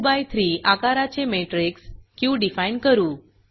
2 by 3 आकाराचे matrix Q define करू